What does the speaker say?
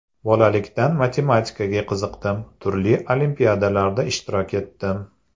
Bolalikdan matematikaga qiziqdim, turli olimpiadalarda ishtirok etdim.